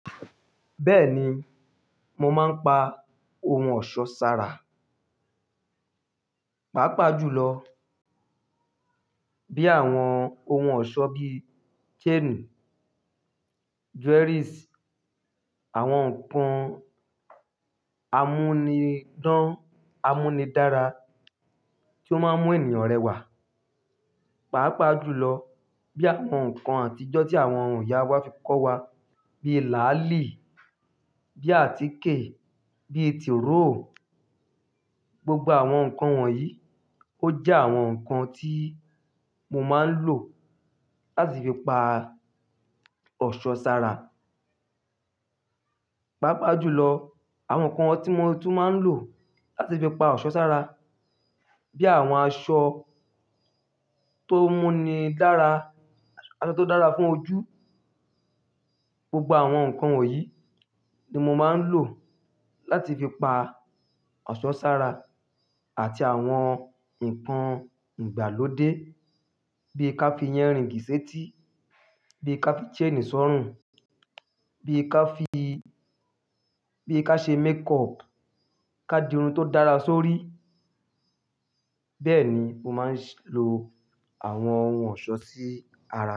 Bẹ́ẹ̀ni, mo máa ń pa ohun ọ̀ṣọ́ sára. Pápa jù lọ, bí àwọn ohun ọ̀ṣọ́ bí chain, jewelries, àwọn nǹkan amúnidán, amúnidára tí ó máa ń mú ènìyàn rẹwà. Pápa jù lọ, bí àwọn nǹkan àtijọ́ tí àwọn ìyá wa fi kọ́ wa. Bí làálì, bí àtíkè, bí tìróò. Gbogbo àwọn nǹkan wọ̀nyí ó jẹ́ àwọn nǹkan tí mo máa ń lò láti fi pa ọ̀ṣọ́ sára. Pápa jù lọ, àwọn nǹkan tí mo tún máa ń lò láti fi pa ọ̀ṣọ́ sára, bí àwọn aṣọ tó mú ni dára, aṣọ tó dára fún ojú. Gbogbo àwọn nǹkan wọ̀nyí ni mo máa ń lò láti fi pa ọ̀ṣọ́ sára àti àwọn nǹkan ìgbàlódé bí ká fi ear ring sèétí, bí ká fi chain sọ̀rùn, bí ká fi, bí ká ṣe makeup, ká di irun tó dára sórí. Bẹ́ẹ̀ ni mo máa ń lo àwọn ohun ọ̀ṣọ́ sí ara.